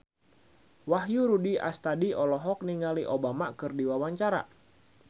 Wahyu Rudi Astadi olohok ningali Obama keur diwawancara